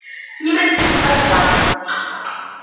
к ним присоединилась мать